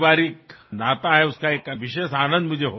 আৰু ঘৰলৈ গৈ আপোনাৰ হাতেৰে কিছু গুজৰাটী খাদ্য খাম